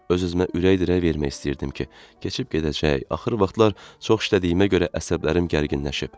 Öz-özümə ürək dirək vermək istəyirdim ki, keçib gedəcək, axır vaxtlar çox işlədiyimə görə əsəblərim gərginləşib.